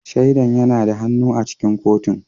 Shaidan yana da hannu a cikin kotun